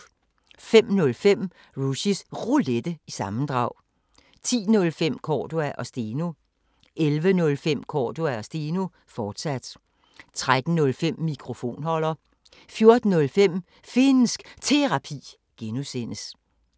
05:05: Rushys Roulette – sammendrag 10:05: Cordua & Steno 11:05: Cordua & Steno, fortsat 13:05: Mikrofonholder 14:05: Finnsk Terapi (G)